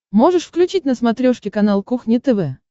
можешь включить на смотрешке канал кухня тв